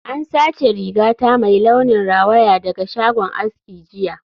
An sace rigata mai launin rawaya daga shagon aski jiya